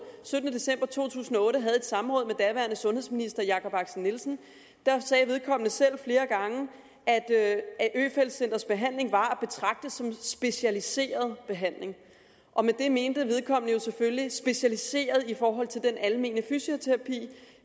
syttende december to tusind og otte havde et samråd med daværende sundhedsminister herre jakob axel nielsen sagde vedkommende selv flere gange at øfeldt centrets behandling var at betragte som specialiseret behandling og med det mente vedkommende jo selvfølgelig specialiseret i forhold til den almene fysioterapi